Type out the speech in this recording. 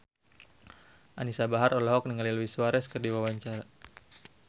Anisa Bahar olohok ningali Luis Suarez keur diwawancara